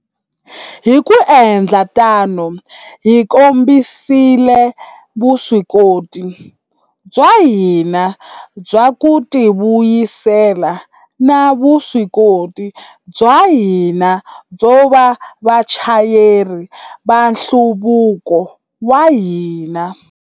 Hi ku endla tano, hi kombisile vuswikoti bya hina bya ku tivuyisela na vuswikoti bya hina byo va vachayeri va nhluvuko wa hina.